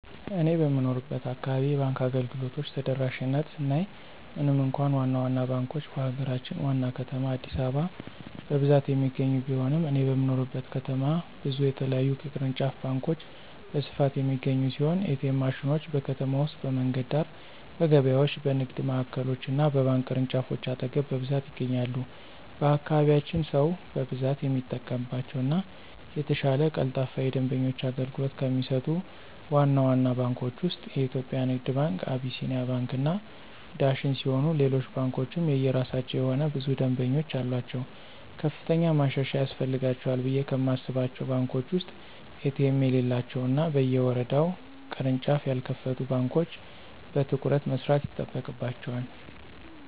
እኔ በምኖርበት አካባቢ የባንክ አገልግሎቶች ተደራሽነት ስናይ ምንም እንኳ ዋና ዋና ባንኮች በሀገራችን ዋና ከተማ አዲስአበባ በብዛት የሚገኙ ቢሆንም እኔ በምኖርበት ከተማ ብዙ የተለያዩ ቅርንጫፍ ባንኮች በስፋት የሚገኙ ሲሆን: ኤ.ቲ.ኤም ማሽኖች: በከተማ ውስጥ በመንገድ ዳር፣ በገበያዎች፣ በንግድ ማዕከሎች እና በባንክ ቅርንጫፎች አጠገብ በብዛት ይገኛሉ። በአካባቢያችን ሰው በብዛት የሚጠቀምባቸው እና የተሻለ ቀልጣፋ የደንበኞች አገልግሎት ከሚሰጡት ዋና ዋና ባንኮች ውስጥ (የኢትዮጽያ ንግድ ባንክ፣ አቢሲኒያ፣ አባይ እና ዳሽን ሲሆኑ ሌሎች ባንኮችም የየራሳቸው የሆነ ብዙ ደምበኞች አሉአቸው። ከፍተኛ ማሻሻያ ያስፈልጋቸዋል ብየ ከማስባቸው ባንኮች ውስጥ ኤ.ቲ.ኤም የሌላቸው እና በየወረዳው ቅርንጫፍ ያልከፈቱ ባንኮች በትኩረት መስራት ይጠበቅባቸዋል።